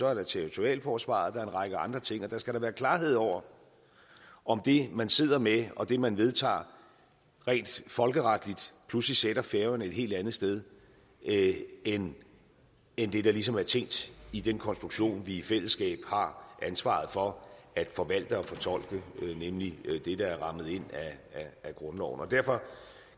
er der territorialforsvaret og en række andre ting og der skal være klarhed over om det man sidder med og det man vedtager rent folkeretligt pludselig sætter færøerne et helt andet sted end end det der ligesom er tænkt i den konstruktion vi i fællesskab har ansvaret for at forvalte og fortolke nemlig det der er rammet ind af grundloven derfor